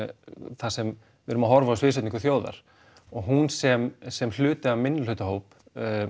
þar sem við erum að horfa á sviðsetningu þjóðar og hún sem sem hluti af minnihlutahóp